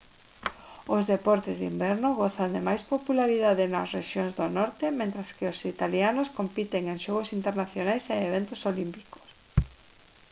os deportes de inverno gozan de máis popularidade nas rexións do norte mentres que os italianos compiten en xogos internacionais e eventos olímpicos